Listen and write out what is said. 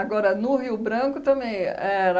no Rio Branco também era...